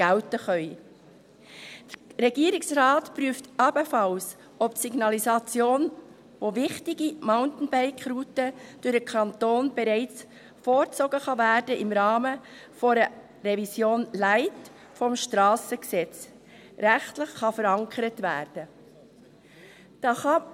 Der Regierungsrat prüft ebenfalls, ob die Signalisation wichtiger Mountainbike-Routen durch den Kanton bereits vorgezogen und im Rahmen einer «Revision Light» des SG rechtlich verankert werden kann.